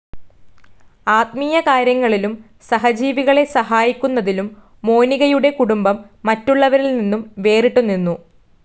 ആത്മീയകാര്യങ്ങളിലും സഹജീവികളെ സഹായിക്കുന്നതിലും മോനികയുടെ കുടുംബം മറ്റുള്ളവരിൽ നിന്നും വേറിട്ട് നിന്നു.